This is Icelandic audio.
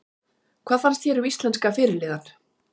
Hvað fannst þér um íslenska fyrirliðann?